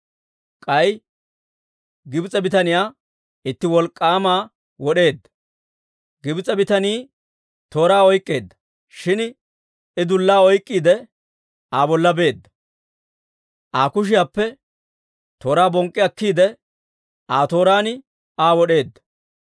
K'ay Gibs'e bitaniyaa itti wolk'k'aama wod'eedda; Gibs'e bitanii tooraa oyk'k'eedda; shin I dullaa oyk'k'iide Aa bolla beedda; Aa kushiyaappe tooraa bonk'k'i akkiide, Aa tooraan Aa wod'eedda.